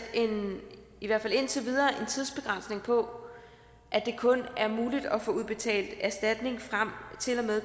i hvert fald indtil videre en tidsbegrænsning på at det kun er muligt at få udbetalt erstatning frem til og med